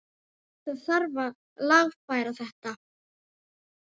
Það þarf að lagfæra þetta.